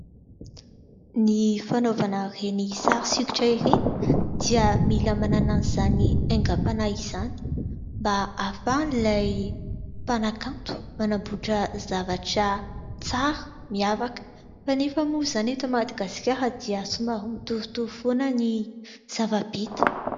Ny fanaovana ireny sary sokitra ireny dia mila manana izany aingam-panahy izany mba hahafahan'ilay mpanakanto manamboatra zavatra tsara, miavaka ; kanefa moa izany eto Madagasikara dia somary mitovitovy foana ny zava-bita.